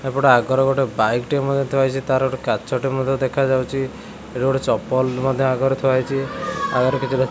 ଏପଟେ ଆଗରେ ଗୋଟେ ବାଇକ୍ ଟେ ମଧ୍ୟ ଥୁଆହେଇଚି ତାର କାଚଟେ ମଧ୍ୟ ଦେଖାଯାଉଚି ଏଇଟି ଗୋଟେ ଚପଲ ମଧ୍ୟ ଆଗରେ ଥୁଆହେଇଚି ଆଗରେ କିଛି ଦେ--